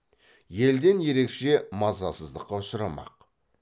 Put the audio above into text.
елден ерекше мазасыздыққа ұшырамақ